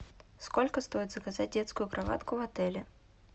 сколько стоит заказать детскую кроватку в отеле